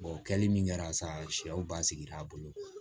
o kɛli min kɛra sa sɛw basigira a bolo